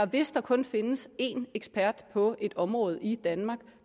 hvis der kun findes én ekspert på et område i danmark